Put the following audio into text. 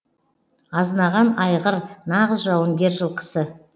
азынаған айғыр нағыз жауынгер жылқысы